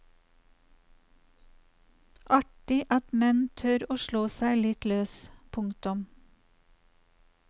Artig at menn tør å slå seg litt løs. punktum